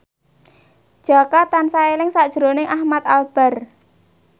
Jaka tansah eling sakjroning Ahmad Albar